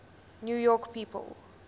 new york people